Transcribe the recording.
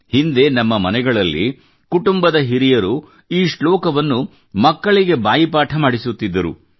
ಹಿಂದೆ ನಮ್ಮ ಮನೆಗಳಲ್ಲಿ ಕುಟುಂಬದ ಹಿರಿಯರು ಈ ಶ್ಲೋಕವನ್ನು ಮಕ್ಕಳಿಗೆ ಬಾಯಿಪಾಠ ಮಾಡಿಸುತ್ತಿದ್ದರು